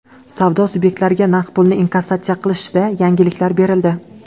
Savdo subyektlariga naqd pulni inkassatsiya qilishda yengilliklar berildi.